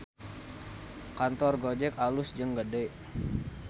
Kantor Gojek alus jeung gede